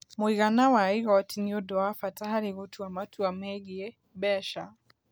Mũigana wa igooti nĩ ũndũ wa bata harĩ gũtua matua megiĩ mbeca.